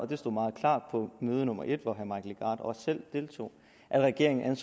det stod meget klart på møde nummer en hvor herre mike legarth også selv deltog at regeringen